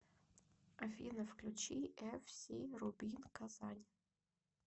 афина включи эф си рубин казань